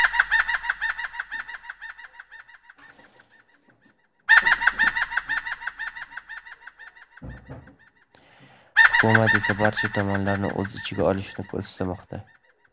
Hukumat esa barcha tomonlarni o‘z ichiga olishini istamoqda.